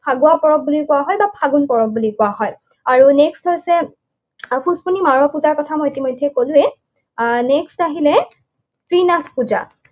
ফাগুৱা পৰব বুলি কোৱা হয় বা ফাগুন পৰৱ বুলি কোৱা হয়। আৰু next হৈছে কথা মই ইতিমধ্যেই কলোৱেই। Next আহিলে ত্ৰিনাথ পূজা।